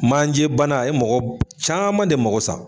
Manjɛ bana a ye mɔgɔ caman de mago sa